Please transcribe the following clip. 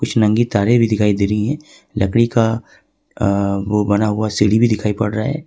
नंगी तारे भी दिखाई दे रही है लकड़ी का वो बना हुआ सीधी भी दिखाई पड़ रहा है।